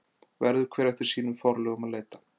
Verður hver eftir sínum forlögum að leita.